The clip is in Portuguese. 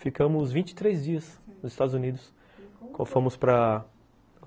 Ficamos vinte e três dias nos Estados Unidos, fomos para